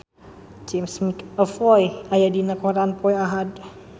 James McAvoy aya dina koran poe Ahad